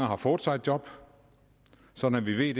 har fået sig et job sådan at vi ved